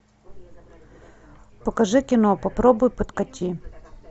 покажи кино попробуй подкати